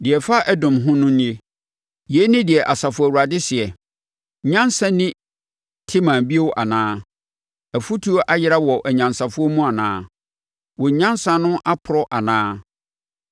Deɛ ɛfa Edom ho no nie: Yei ne deɛ Asafo Awurade seɛ: “Nyansa nni Teman bio anaa? Afutuo ayera wɔ anyansafoɔ mu anaa? Wɔn nyansa no aporɔ anaa?